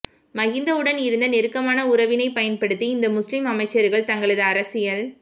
மகிந்தவுடன் இருந்த நெருக்கமான உறவினை பயன்படுத்தி இந்த முஸ்லிம் அமைச்சர்கள் தங்களது அரசியல்